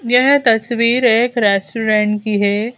यह तस्वीर एक रेस्टोरेंट की है।